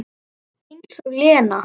Eins og Lena!